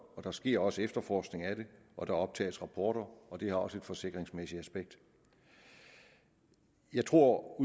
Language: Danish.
og der sker også efterforskning af det og der optages rapporter og det har også et forsikringsmæssigt aspekt jeg tror